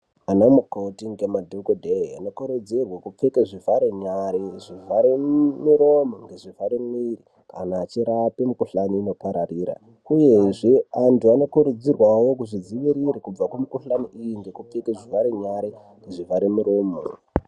Anamukoti ngemadhogohee anokurudzirwe kupfeke zvivhare nyare, zvivhare miromo ngezvivhare mwiiri kana achirape mikuhlani inopararira. Uyezve antu anokurudzirwawo kuzvidzivirire kubve kumikuhlani iyi ngekupfeke zvivhare nyare nezvivhare miromo.